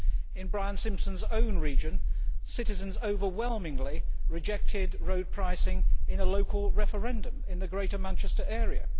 In Brian Simpson's own region, citizens overwhelmingly rejected road pricing in a local referendum in the Greater Manchester area.